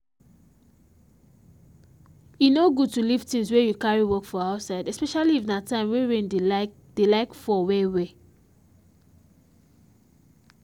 e no good to leave things wey you carry work for outsideespecially if na time wey rain dey like dey like fall well well